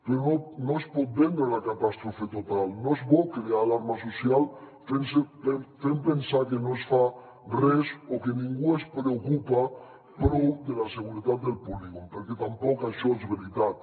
però no es pot vendre la catàstrofe total no és bo crear alarma social fent pensar que no es fa res o que ningú es preocupa prou de la seguretat del polígon perquè tampoc això és veritat